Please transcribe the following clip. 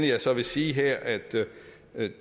jeg så vil sige her er at